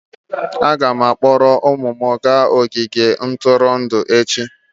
Aga m akpọrọ ụmụ m gaa ogige ntụrụndụ echi.